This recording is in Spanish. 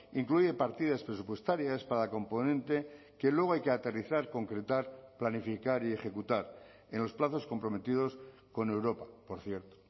incluye partidas presupuestarias para componente que luego hay que aterrizar concretar planificar y ejecutar en los plazos comprometidos con europa por cierto